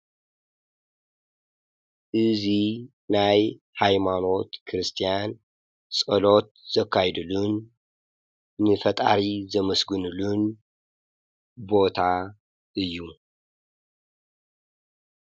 እዙይ ናይ ኃይማኖት ክርስቲያን ጸሎት ዘካይዱሉን ንፈጣሪ ዘመስግንሉን ቦታ እዩ።